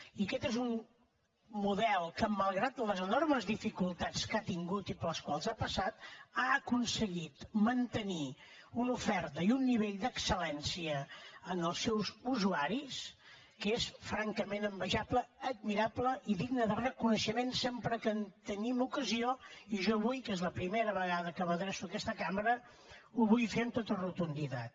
i aquest és un model que malgrat les enormes dificultats que ha tingut i per les quals ha passat ha aconseguit mantenir una oferta i un nivell d’excel·lència per als seus usuaris que són francament envejables admirables i dignes de reconeixement sempre que en tinguem ocasió i jo avui que és la primera vegada que m’adreço a aquesta cambra ho vull fer amb tota rotunditat